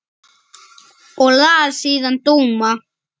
Og las síðan dóma.